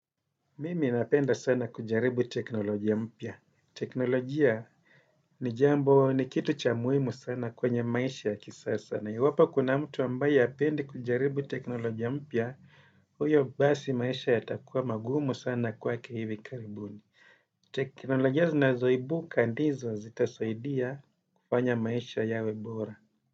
Mimi napenda sana kujaribu teknolojia mpya. Teknolojia ni jambo ni kitu cha muhimu sana kwenye maisha ya kisasa na. Iwapo kuna mtu ambaye apendi kujaribu teknolojia mpya, huyo basi maisha yatakuwa magumu sana kwake hivi karibuni. Teknolojia zinazoibuka ndizo zitasaidia kufanya maisha yawe bora.